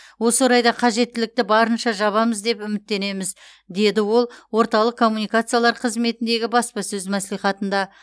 осы орайда қажеттілікті барынша жабамыз деп үміттенеміз деді ол орталық коммуникациялар қызметіндегі баспасөз мәслихатында